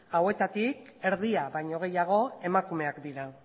hauetatik erdia baino gehiago emakumeak dira